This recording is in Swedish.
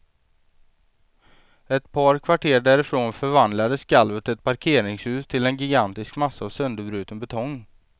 Ett par kvarter därifrån förvandlade skalvet ett parkeringshus till en gigantisk massa av sönderbruten betong.